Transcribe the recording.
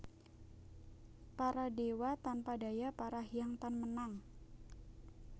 Para dewa tanpa daya para hyang tan menang